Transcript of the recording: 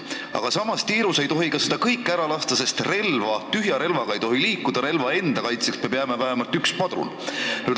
Aga samas, tiirus ei tohi neid kõiki ära lasta, sest tühja relvaga ei tohi liikuda, relva enda kaitseks peab jääma vähemalt üks padrun.